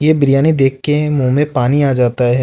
ये बिरयानी देखके मुंह में पानी आ जाता है।